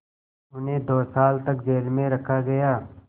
उन्हें दो साल तक जेल में रखा गया